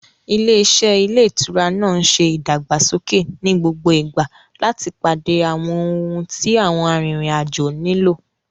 Ilé-iṣẹ́ ilé ìtura náà ń ṣe ìdàgbàsókè ní gbogbo ìgbà láti pàdé àwọn ohun tí àwọn arìnrìn-àjò nílò.